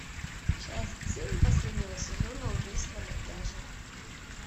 часть семь последнего сезона убийство на пляже